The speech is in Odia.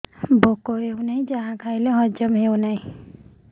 ଭୋକ ହେଉନାହିଁ ଯାହା ଖାଇଲେ ହଜମ ହଉନି